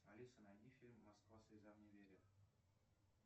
алиса найди фильм москва слезам не верит